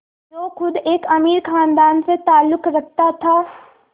जो ख़ुद एक अमीर ख़ानदान से ताल्लुक़ रखता था